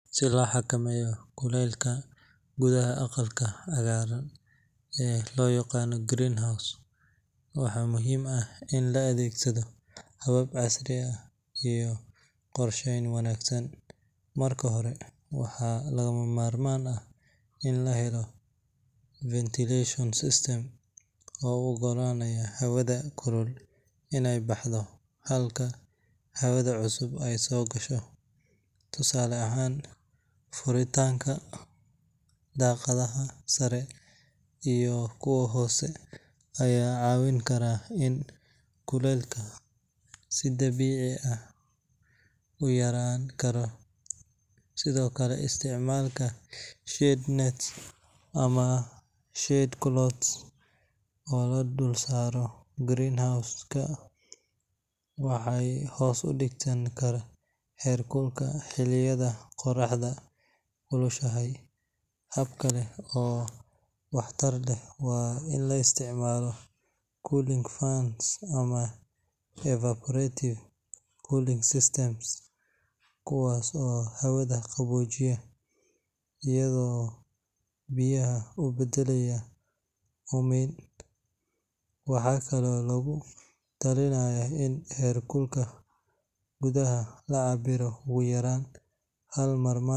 Si loo xakameeyo kulaylka gudaha aqalka cagaaran ee loo yaqaan greenhouse, waxaa muhiim ah in la adeegsado habab casri ah iyo qorsheyn wanaagsan. Marka hore, waxaa lagama maarmaan ah in la helo ventilation system oo u oggolaanaya hawada kulul inay baxdo halka hawada cusub ay soo gasho. Tusaale ahaan, furitaanka daaqadaha sare iyo kuwa hoose ayaa caawin kara in kulaylka si dabiici ah u yaraan karo. Sidoo kale, isticmaalka shade nets ama shade cloths oo la dul saaro greenhouse-ka waxay hoos u dhigaan heer kulka xilliyada qorraxda kulushahay. Hab kale oo waxtar leh waa in la isticmaalo cooling fans ama evaporative cooling systems, kuwaas oo hawada qaboojiya iyagoo biyo u beddelaya uumiga. Waxaa kaloo lagu talinayaa in heerkulka gudaha la cabbiro ugu yaraan hal mar,